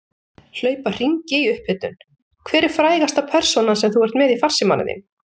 Hlaupa hringi í upphitun Hver er frægasta persónan sem þú ert með í farsímanum þínum?